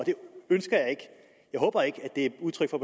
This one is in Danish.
jeg håber ikke at det er udtryk for